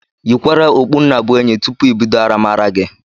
Yikwara okpu nnabuenyi tụpụ ibido aramara gi